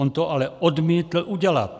On to ale odmítl udělat.